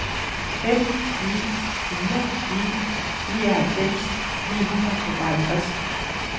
fem ni fire ni nioghalvfems ni hundrede og tooghalvtreds